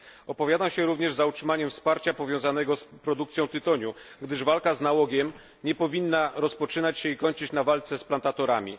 Opowiadam się również za utrzymaniem wsparcia powiązanego z produkcją tytoniu, gdyż walka z nałogiem nie powinna rozpoczynać się i kończyć się na walce z plantatorami.